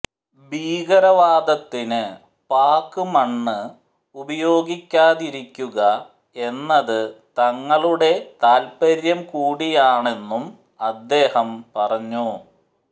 ഭീകരവാദത്തിന് പാക് മണ്ണ് ഉപയോഗിക്കാതിരിക്കുക എന്നത് തങ്ങളുടെ താത്പര്യംകൂടിയാണെന്നും അദ്ദേഹം പറഞ്ഞു